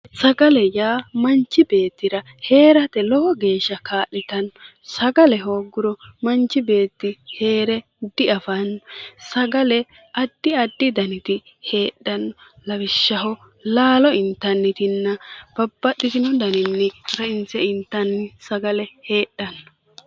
Sagale yaa manchi beettira heerate lowo geeshsha kaa'litanno sagale hoogguro manchi beetti heere diafanno sagale addi addi daniti heedhannota lawishahaho Lalo intannirinna babaxino daninni rainse intanni Dani sagale heedhanno.